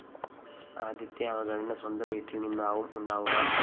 ആദ്യത്തെ അവഗണന സ്വന്തം വീട്ടില്‍ നിന്നാവും ഉണ്ടാവുക